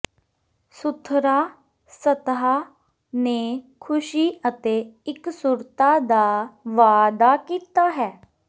ਸੁਥਰਾ ਸਤਹਾ ਨੇ ਖੁਸ਼ੀ ਅਤੇ ਇਕਸੁਰਤਾ ਦਾ ਵਾਅਦਾ ਕੀਤਾ ਹੈ